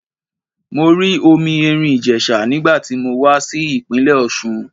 Mo rí omi Èrìn Ìjèsà nígbà tí mo wá sí ìpínlẹ̀ Òsun